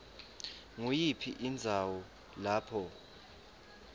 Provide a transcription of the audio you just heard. nguyiphi indzawo lapho